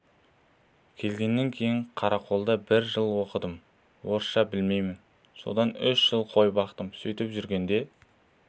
келгеннен кейін қарақолда бір жыл оқыдым орысша білмеймін содан үш жыл қой бақтым сөйтіп жүргенде